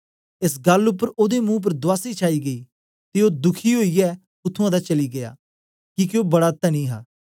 एस गल्ल उपर ओदे मुं उपर दुआसी छाई गेई ते ओ दुखी ओईयै उत्त्थुं दा चली गीया किके ओ बड़ा धनी हा